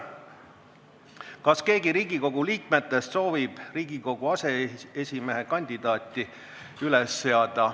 Kas keegi Riigikogu liikmetest soovib Riigikogu aseesimehe kandidaati üles seada?